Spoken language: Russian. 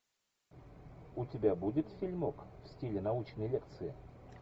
у тебя будет фильмок в стиле научной лекции